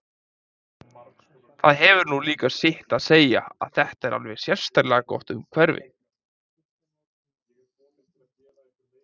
Það hefur nú líka sitt að segja að þetta er alveg sérlega gott hverfi.